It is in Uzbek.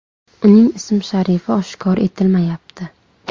Uning ism-sharifi oshkor etilmayapti.